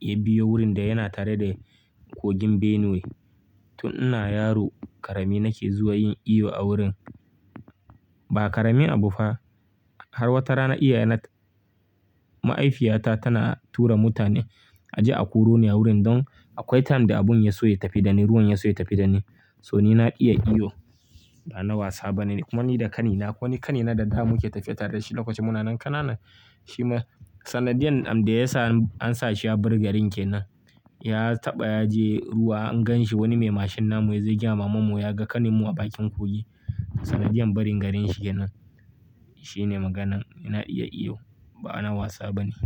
ya biyo wurin da yana tare da kogin Benue. Tun ina yaro ƙarami nake zuwa yin iyo a wurin. Ba ƙaramin abu fa. Har wata rana iyayena-- ma'haifiyata tana tura mutane a je a koro ni wurin don akwai time da abun ya so ya tafi da ni, ruwan ya so ya tafi da ni. So, ni na iya iyo, ba na wasa bane. Kuma ni da ƙanina, akwai wani ƙanina da da muke tafiya tare da shi lokacin muna nan kanana. Shi ma sanadiyan da ya sa an sa shi ya bar garin kenan. Ya taɓa ya je ruwa an gan shi wani mai mashin namu ya je ya gaya ma mammanmu ya ga ƙaninmu a bakin kogi. Sanadiyan barin garin shi kenan. Shine maganan. Na iya iyo ba na wasa bane.